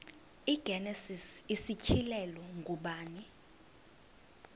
igenesis isityhilelo ngubani